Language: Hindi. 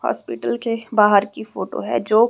हॉस्पिटल के बाहर की फोटो है जो--